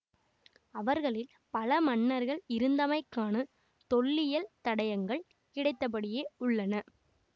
அவர்களில் பல மன்னர்கள் இருந்தமைக்கான தொல்லியல் தடையங்கள் கிடைத்தபடியே உள்ளன